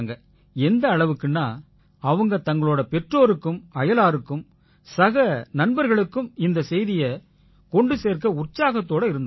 எந்த அளவுக்குன்னா அவங்க தங்களோட பெற்றோருக்கும் அயலாருக்கும் சக நண்பர்களுக்கும் இந்தச் செய்தியைக் கொண்டு சேர்க்க உற்சாகத்தோட இருந்தாங்க